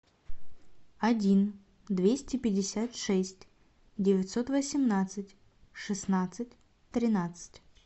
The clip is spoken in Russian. один двести пятьдесят шесть девятьсот восемнадцать шестнадцать тринадцать